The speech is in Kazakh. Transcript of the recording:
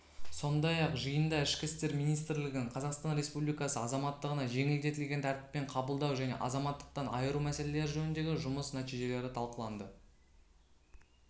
сондай-ақ жиында ішкі істер министрлігінің қазақстан республикасы азаматтығына жеңілдетілген тәртіппен қабылдау және азаматтықтан айыру мәселелері жөніндегі жұмыс нәтижелері талқыланды